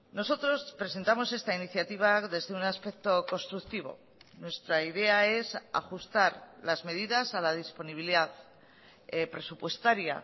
nosotros presentamos esta iniciativa desde un aspecto constructivo nuestra idea es ajustar las medidas a la disponibilidad presupuestaria